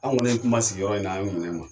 Anw kɔni ye kuma sigi yɔrɔ in na, an